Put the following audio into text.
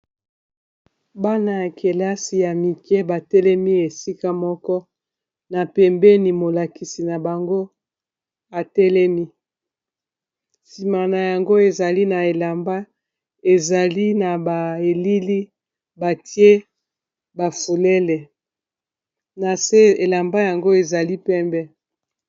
bana ya kelasi ya mike batelemi esika moko na pembeni molakisi na bango atelemi sima na yango azali na elamba ya elili batie ba fololo na se elamba yango ezali pembe.